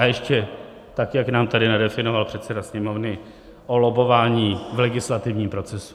A ještě tak, jak nám tady nadefinoval předseda Sněmovny o lobbování v legislativním procesu.